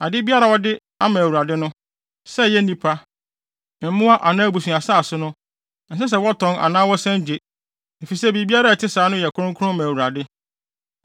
“ ‘Ade biara a wɔde ama Awurade no, sɛ ɛyɛ nnipa, mmoa anaa abusuasase no, ɛnsɛ sɛ wɔtɔn anaa wɔsan gye, efisɛ biribiara a ɛte saa no yɛ kronkron ma Awurade.